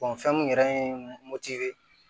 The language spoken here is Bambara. fɛn mun yɛrɛ ye moto ye